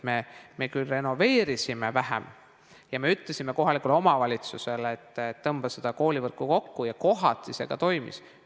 Me küll renoveerisime vähem ja ütlesime kohalikule omavalitsusele, et tõmmake koolivõrku kokku, ja kohati see ka toimis.